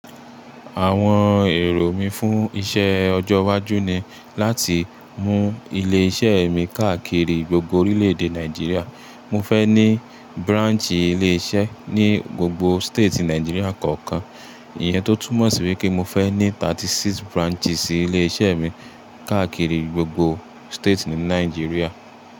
Àwọn èrò mí fún iṣẹ́ ọjọ́ iwájú ni láti mú ilé iṣẹ́ mi káàkiri gbogbo orílẹ̀ èdè Nàìjíríà. Mo fẹ́ ní branch ilé iṣẹ́ ní gbogbo state Nàìjíríà kọ̀ọ̀kan. Ìyẹn tó túmọ̀ sí wipe mo fẹ́ ní thirty six branches ilé iṣẹ́ mi káàkiri gbogbo state ní Nàìjíríà.